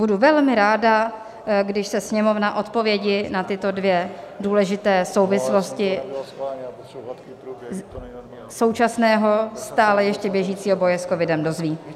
Budu velmi ráda, když se Sněmovna odpovědi na tyto dvě důležité souvislosti současného, stále ještě běžícího boje s covidem dozví.